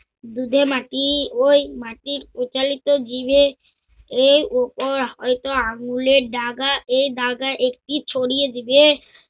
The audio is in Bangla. যে মাটি ঐ মাটির উকালিত জিবে এর উপর হয়ত আঙ্গুলের ডাগা এ ডাগা একটি ছড়িয়ে দিবে।